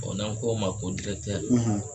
n'an k'o ma ko